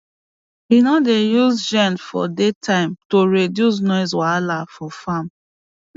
he no dey use gen for day time to reduce noise wahala for farm